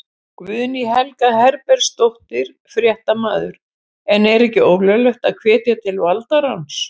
Guðný Helga Herbertsdóttir, fréttamaður: En er ekki ólöglegt að hvetja til valdaráns?